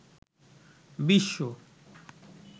বিশ্ব